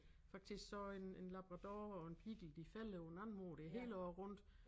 Faktisk så en en labrador og en beagle de fælder på en anden måde det hele året rundt